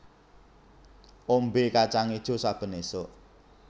Ombé kacang ijo saben esuk